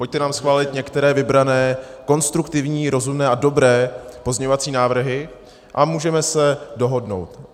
Pojďte nám schválit některé vybrané konstruktivní, rozumné a dobré pozměňovací návrhy a můžeme se dohodnout.